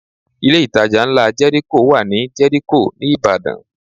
Ilé ìtajà ńlá Jẹ́ríkò wà ní Jẹ́ríkò ní Ìbàdàn